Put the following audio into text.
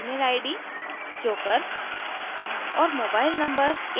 यह बताता है कि email id: joker